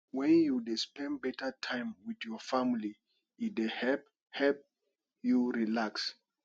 wen you dey spend beta time with your family e dey help help you relax